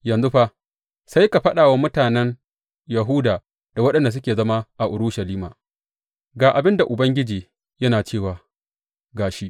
Yanzu fa, sai ka faɗa wa mutanen Yahuda da waɗanda suke zaune a Urushalima, Ga abin da Ubangiji yana cewa ga shi!